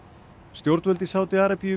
stjórnvöld í Sádi Arabíu